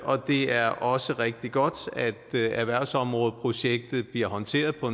og det er også rigtig godt at erhvervsområdeprojektet bliver håndteret på